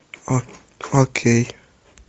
окей